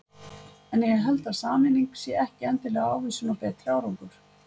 En ég held að sameining sé ekki endilega ávísun á betri árangur.